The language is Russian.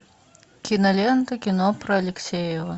кинолента кино про алексеева